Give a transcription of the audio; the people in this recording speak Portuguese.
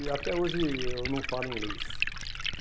E até hoje eu não falo inglês.